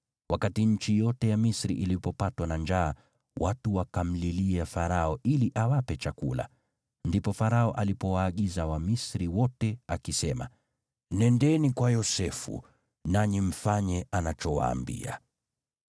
Wakati nchi yote ya Misri ilipopatwa na njaa, watu wakamlilia Farao ili awape chakula. Ndipo Farao alipowaagiza Wamisri wote, akisema, “Nendeni kwa Yosefu, nanyi mfanye anachowaambia.”